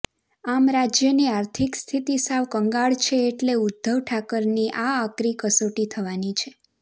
આમ રાજ્યની આર્થિક સ્થિતિ સાવ કંગાળ છે એટલે ઉદ્ધવ ઠાકરેની આકરી કસોટી થવાની છે